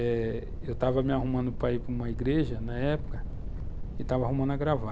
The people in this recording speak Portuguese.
Eh, eu estava me arrumando para ir para uma igreja, na época, e estava arrumando a gravata.